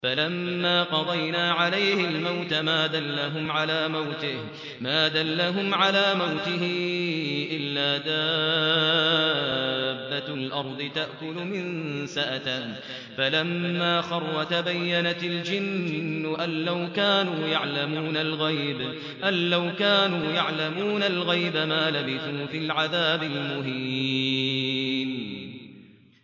فَلَمَّا قَضَيْنَا عَلَيْهِ الْمَوْتَ مَا دَلَّهُمْ عَلَىٰ مَوْتِهِ إِلَّا دَابَّةُ الْأَرْضِ تَأْكُلُ مِنسَأَتَهُ ۖ فَلَمَّا خَرَّ تَبَيَّنَتِ الْجِنُّ أَن لَّوْ كَانُوا يَعْلَمُونَ الْغَيْبَ مَا لَبِثُوا فِي الْعَذَابِ الْمُهِينِ